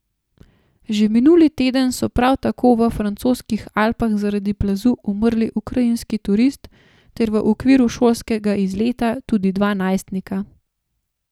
Že minuli teden so prav tako v francoskih Alpah zaradi plazu umrli ukrajinski turist ter v okviru šolskega izleta tudi dva najstnika.